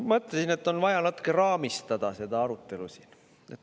Ma mõtlesin, et on vaja natuke raamistada seda arutelu siin.